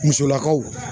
Musolakaw